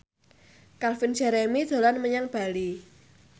Calvin Jeremy dolan menyang Bali